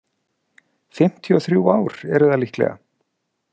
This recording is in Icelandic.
Fimmtíu og þrjú ár eru það líklega.